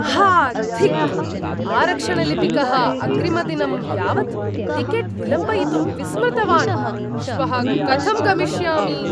हा धिक्, आरक्षणलिपिकः अग्रिमदिनं यावत् टिकेट् विलम्बयितुं विस्मृतवान्, श्वः कथं गमिष्यामि?